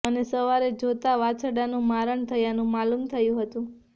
અને સવારે જોતા વાછરડાનુ મારણ થયાનુ માલુમ થયુ હતુ